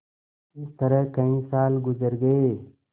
इस तरह कई साल गुजर गये